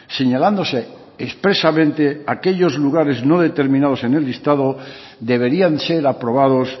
señalándose expresamente aquellos lugares no determinados en el listado deberían ser aprobados